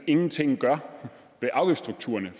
ingenting gør ved afgiftsstrukturerne